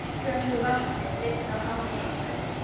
Íslensku vatni dreift á hamfarasvæði